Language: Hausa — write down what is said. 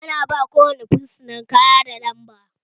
Ana ba ko wane fursuna kaya da lamba